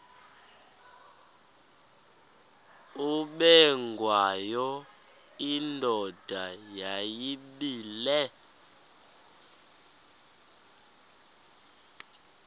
ubengwayo indoda yayibile